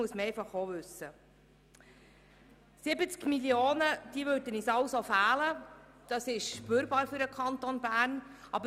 70 Mio. Franken würden uns also fehlen, und das würde der Kanton Bern spüren.